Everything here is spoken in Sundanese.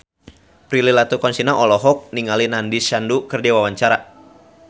Prilly Latuconsina olohok ningali Nandish Sandhu keur diwawancara